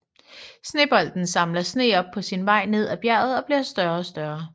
Snebolden samler sne op på sin vej ned af bjerget og bliver større og større